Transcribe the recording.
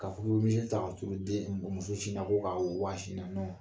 Ka ta ka turu den muso sin na den muso sin na ko k'a wa sin na